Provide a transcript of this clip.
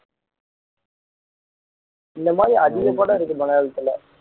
இந்த மாதிரி அதிக படம் இருக்கு மலையாளத்துல